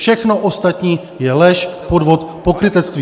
Všechno ostatní je lež, podvod, pokrytectví!